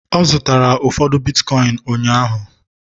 ọ zụtara ụfọdụ bitkọịn ụnyaahụ